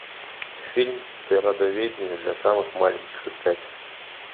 фильм природоведение для самых маленьких искать